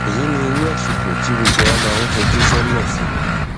èyí ni irú àsìkò tí gbogbo wa máa ń fojú sọnà fún